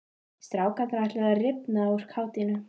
Strákarnir ætluðu að rifna úr kátínu.